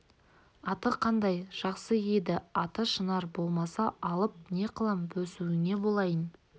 аты қандай жақсы еді аты шынар болмаса алып не қылам бөсуіңе болайын